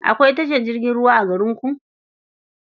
Akwai tashar jirgin ruwa a garinku?